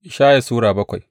Ishaya Sura bakwai